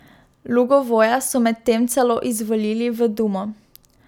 Lugovoja so medtem celo izvolili v dumo.